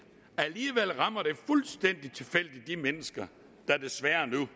rammer fuldstændig tilfældigt de mennesker der desværre nu